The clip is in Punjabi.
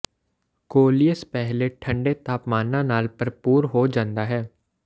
ਕੋਲੀਅਸ ਪਹਿਲੇ ਠੰਢੇ ਤਾਪਮਾਨਾਂ ਨਾਲ ਭਰਪੂਰ ਹੋ ਜਾਂਦਾ ਹੈ